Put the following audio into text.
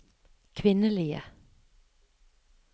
kvinnelige